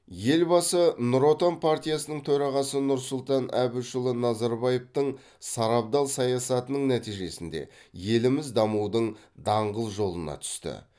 елбасы ңұр отан партиясының төрағасы нұрсұлтан әбішұлы назарбаевтың сарабдал саясатының нәтижесінде еліміз дамудың даңғыл жолына түсті